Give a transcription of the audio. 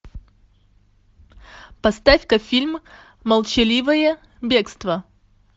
поставь ка фильм молчаливое бегство